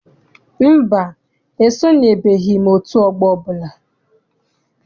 Mba, esonyebeghi m otú ọgbọ ọbụla.